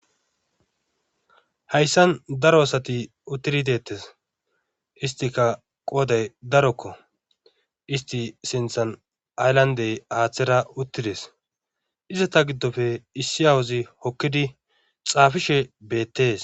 Hayssan daro asati uttiri deettes histika qooday darokko isti sinthan ayllandey aaththera uttides izata giddofe issi awuzi hokkidi xaafishe beettees.